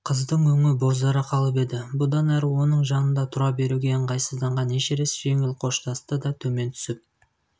қыздың өңі бозара қалып еді бұдан әрі оның жанында тұра беруге ыңғайсызданған эшерест жеңіл қоштасты да төмен түсіп